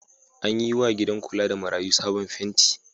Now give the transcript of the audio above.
An yiwa gida kula da marayu sabon fenti.